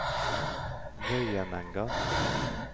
Vøyenenga